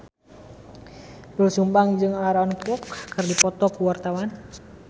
Doel Sumbang jeung Aaron Kwok keur dipoto ku wartawan